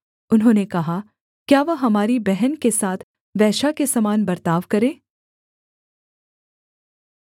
उन्होंने कहा क्या वह हमारी बहन के साथ वेश्या के समान बर्ताव करे